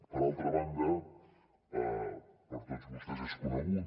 per altra banda per tots vostès és conegut